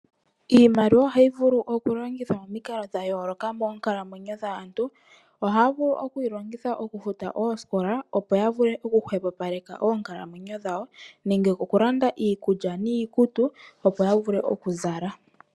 Iimaliwa ohayi vulu okulongithwa momikalo dha yooloka monkaalamwenyo ohaya vulu okudhilongitha momikalo dha yooloka okufuta oosikola opo ya vule okuhwepopaleka oonkalamwenyo dhawo nenge okulanda iikulya niikutu opo ya vule okuzala .